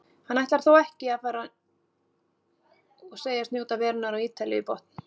Hann ætlar þó ekki að fara og segist njóta verunnar á Ítalíu í botn.